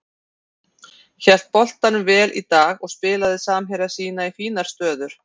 Hélt boltanum vel í dag og spilaði samherja sína í fínar stöður.